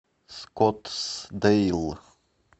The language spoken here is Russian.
скоттсдейл